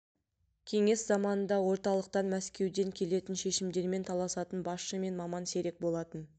кеңес заманында орталықтан мәскеуден келетін шешімдермен таласатын басшы мен маман сирек болатын